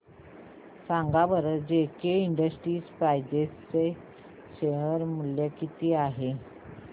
सांगा बरं JK Enterprises share मूल्य किती आहे